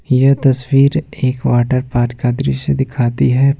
यह तस्वीर एक वाटर पार्क का दृश्य दिखाती है।